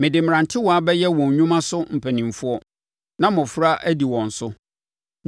“Mede mmerantewaa bɛyɛ wɔn nnwuma so mpanimfoɔ; na mmɔfra adi wɔn so.”